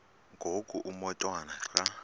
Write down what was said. ngoku umotwana xa